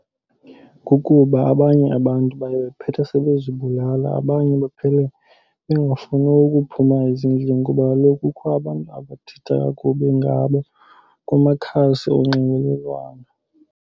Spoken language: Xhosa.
Kukuba abanye abantu baye phethe sebezibulala. Abanye baphele bengafuni ukuphuma ezindlini kuba kaloku kukho abantu abathetha kakubi ngabo kumakhasi onxibelelwano.